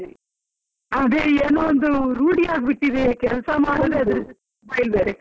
ಅದೆ ಏನೋ ಒಂದು ರೂಢಿ ಆಗಿ ಬಿಟ್ಟಿದೆ. ಕೆಲಸ ಮಾಡೋದೇ mobile ಬೇರೆ ಕೈಯಲ್ಲಿ.